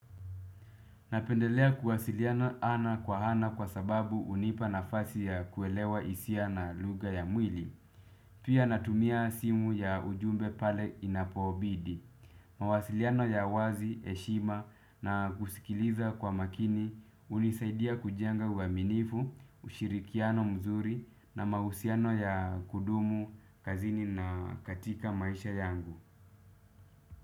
Napendelea kuwasiliana ana kwa ana kwa sababu hunipa nafasi ya kuelewa hisia na lugha ya mwili. Pia natumia simu ya ujumbe pale inapobidi. Mawasiliano ya wazi, heshima na kusikiliza kwa makini hunisaidia kujenga uaminifu, ushirikiano mzuri na mahusiano ya kudumu kazini na katika maisha yangu.